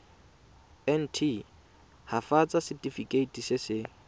nt hafatsa setefikeiti se se